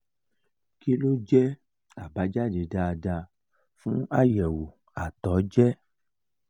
kí ló jẹ abajade daadaa fun ayewo ato je?